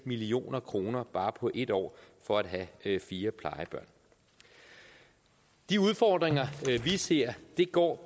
million kroner bare på ét år for at have fire plejebørn de udfordringer vi ser går